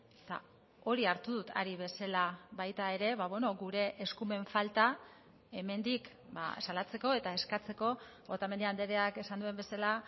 eta hori hartu dut ari bezala baita ere gure eskumen falta hemendik salatzeko eta eskatzeko otamendi andreak esan duen bezala